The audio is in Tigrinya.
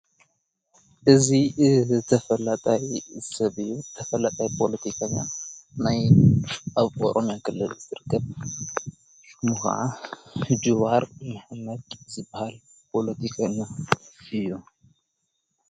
እዙ ተፈላጣይ ሰብብ ተፈላጣይ ጶሎቲካኛ ናይ ኣብ ቆሮም ያ ገለሉ ዝድርገብ ምሃዓ ድዋር ይኅነቅ ዝብሃል ጶሎቲኛ እዮ።